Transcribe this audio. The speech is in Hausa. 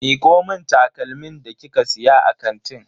Miko mun takalmin da kika siya a kantin.